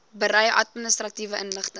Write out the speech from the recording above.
berei administratiewe inligting